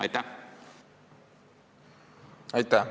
Aitäh!